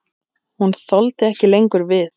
Hún þoldi ekki lengur við.